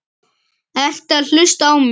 Ertu að hlusta á mig?